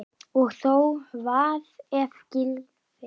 Og þó Hvað ef Gylfi.